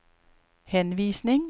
henvisning